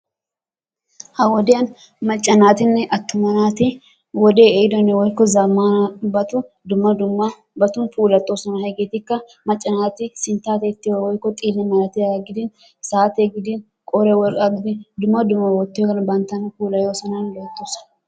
Ha wodiyan macca naatinne attuma naati wodee ehiiddo woykko zammanabata dumma dummabatun puulattooson. Hegeetikka macca naati sinttaa tiyetiyobaa woykko xile malatiyaba gidin saatee gidin qooriya worqqaa gidin dumma dumma wottiyogan banttana puulayoosonanne loyttoosona.